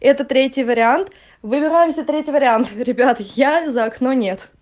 это третий вариант выбираемся третий вариант ребята я за окно нет